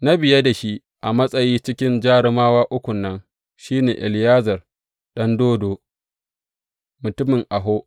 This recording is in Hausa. Na biye da shi a matsayi cikin jarumawa ukun nan, shi ne Eleyazar ɗan Dodo, mutumin Aho.